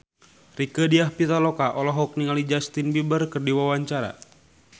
Rieke Diah Pitaloka olohok ningali Justin Beiber keur diwawancara